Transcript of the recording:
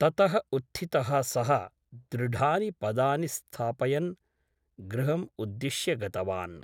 ततः उत्थितः सः दृढानि पदानि स्थापयन् गृहम् उद्दिश्य गतवान् ।